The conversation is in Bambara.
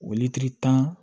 tan